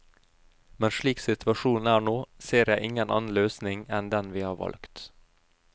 Men slik situasjonen er nå, ser jeg ingen annen løsning enn den vi har valgt.